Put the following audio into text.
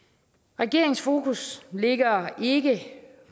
regeringens fokus ligger ikke